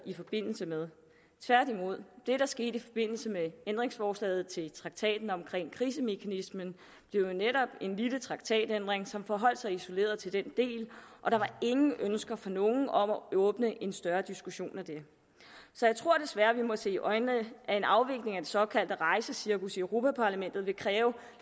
i forbindelse med tværtimod det der skete i forbindelse med ændringsforslaget til traktaten om krisemekanismen blev jo netop en lille traktatændring som forholdt sig isoleret til den del og der var ingen ønsker fra nogen om at åbne en større diskussion af det så jeg tror desværre vi må se i øjnene at en afvikling af det såkaldte rejsecirkus i europa parlamentet vil kræve